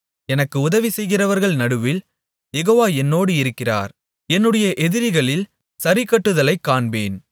எனக்கு உதவி செய்கிறவர்கள் நடுவில் யெகோவா என்னோடு இருக்கிறார் என்னுடைய எதிரிகளில் சரிக்கட்டுதலைக் காண்பேன்